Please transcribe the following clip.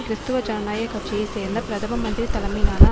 கிறிஸ்துவ ஜனநாயக கட்சியை சேர்ந்த பிரதம மந்திரி தலைமையிலான